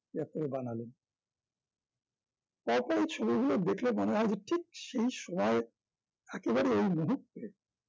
তিয়াত্তরে বানালেন তারপরে এই ছবিগুলো দেখলে মনে হয় যে ঠিক সেই সময়ে একেবারে এই মুহূর্তে